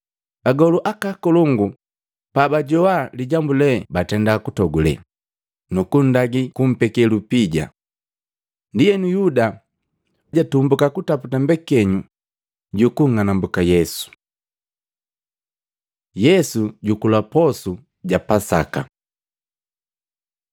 Agolu akolongu pabajoa lijambu lee batenda kutogule, nukundagi kumpekee lupija. Ndienu, Yuda jatumbuka kutaputa mbekenyu ju kunng'anambuka Yesu. Yesu jukula posu ja Pasaka Matei 26:17-26; Luka 22:7-14, 21-23; Yohana 13:21-30